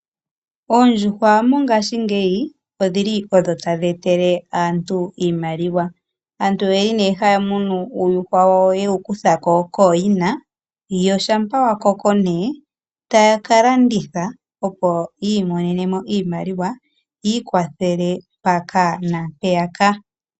Oondjuhwa mongashingeyi odhili odho tadhi etele aantu iimaliwa. Aaantu oyeli nee haya munu uuyuhwa wawo ye wu kuthako kooyina, wo shampa wa koko ta ya ka landitha opo ya imonemo iimaliwa yi ikwathele mpaka naampeyaka.